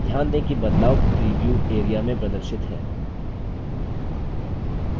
ध्यान दें कि बदलाव प्रीव्यू area में प्रदर्शित है